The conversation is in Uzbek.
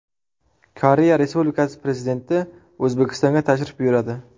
Koreya Respublikasi Prezidenti O‘zbekistonga tashrif buyuradi.